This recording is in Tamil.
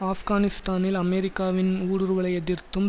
ஆஃப்கானிஸ்தானில் அமெரிக்காவின் ஊடுருவலை எதிர்த்தும்